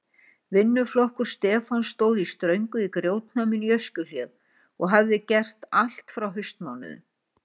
Vinnuflokkur Stefáns stóð í ströngu í grjótnáminu í Öskjuhlíð og hafði gert allt frá haustmánuðum.